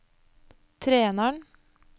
treneren